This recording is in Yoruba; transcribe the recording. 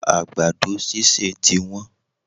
Àgbàdo sísè ti wón